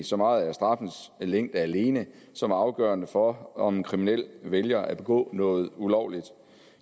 så meget er straffens længde alene som er afgørende for om en kriminel vælger at begå noget ulovligt